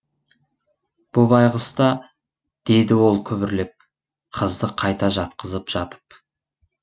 бұ байғұс та деді ол күбірлеп қызды қайта жатқызып жатып